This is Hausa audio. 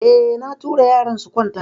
Eh, na tura yaran su kwanta.